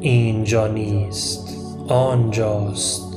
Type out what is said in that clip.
اینجا نیست آنجاست